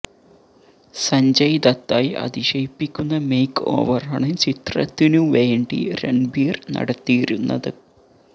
സഞ്ജയ് ദത്തായി അതിശയിപ്പിക്കുന്ന മേക്ക് ഓവറാണ് ചിത്രത്തിനു വേണ്ടി രണ്ബീര് നടത്തിയിരുന്നത്